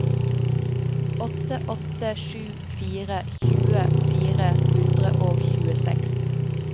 åtte åtte sju fire tjue fire hundre og tjueseks